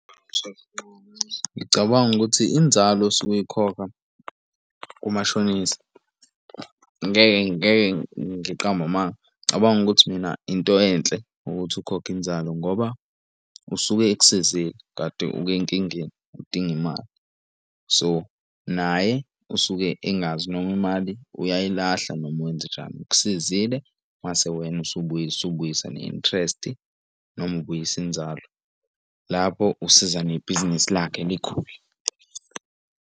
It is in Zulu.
Ngicabanga ukuthi inzalo osuke uyikhokha kumashonisa ngeke ngeke ngiqambe amanga cabanga ukuthi mina into enhle ukuthi ukhokhe inzalo ngoba usuke ekusizile kade uke nkingeni udinga imali, so naye usuke engazi noma imali uyayilahla noma wenzenjani. Ukusizile mase wena usubuyisa ne-interest noma ubuyisa inzalo lapho usiza nebhizinisi lakhe likhule.